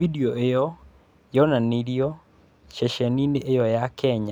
Video ĩyo yonanirio ceceni-inĩ ĩyo ya Kenya.